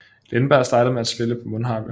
Lindberg startede med at spille på mundharpe